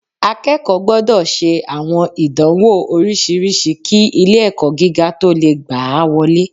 Akẹ́kọ̀ọ́ gbọ́dọ̀ ṣe àwọn ìdánwò oríṣiríṣi kí ilé-ẹ̀kọ́ gíga tó lè gba á wọlé